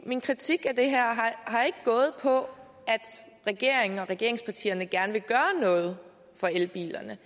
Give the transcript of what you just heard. min kritik af det her har ikke gået på at regeringen og regeringspartierne gerne vil gøre noget for elbilerne